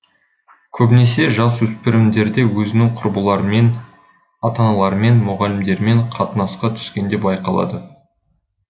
көбінесе жасөспірімдерде өзінің құрбыларымен ата аналарымен мұғалімдерімен қатынасқа түскенде байқалады